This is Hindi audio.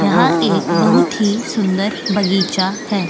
यहाँ एक बहुत ही सुंदर बगीचा है।